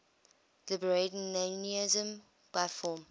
libertarianism by form